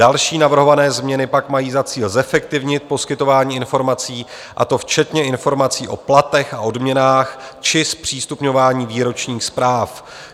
Další navrhované změny pak mají za cíl zefektivnit poskytování informací, a to včetně informací o platech a odměnách či zpřístupňování výročních zpráv.